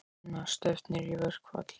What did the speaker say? Sunna: Stefnir í verkfall?